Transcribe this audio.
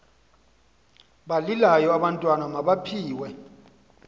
balilayo abantwana mabaphiwe